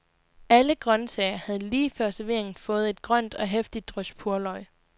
Alle grøntsager havde lige før serveringen fået et grønt og heftigt drys purløg.